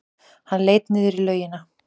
Hann leit niður í laugina.